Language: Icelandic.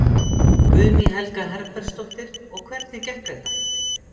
Guðný Helga Herbertsdóttir: Og hvernig gekk þetta?